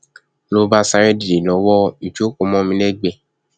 ló bá sáré dìde lọ wo ìjókòó mọ mi lẹgbẹẹ